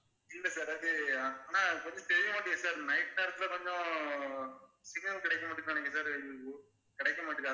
இல்ல sir அது ஆனா கொஞ்சம் தெரிய மாட்டேங்குது sir night time கொஞ்சம் signal கிடைக்க மாட்டேங்குது நினைக்கறேன் sir கிடைக்க மாட்டேங்குது